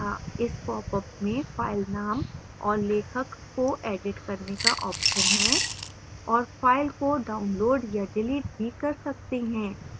इस popअप में file name और लेखक को एडिट करने का option है और file को download या डिलीट भी कर सकते हैं